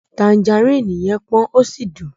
Tanjaríìnì yẹn pọ́n ó sì dùn.